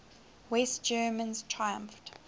west germans triumphed